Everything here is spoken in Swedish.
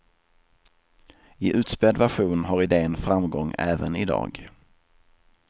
I utspädd version har idén framgång även i dag.